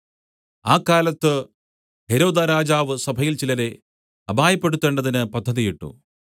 ആ കാലത്ത് ഹെരോദാരാജാവ് സഭയിൽ ചിലരെ അപായപ്പെടുത്തേണ്ടതിന് പദ്ധതിയിട്ടു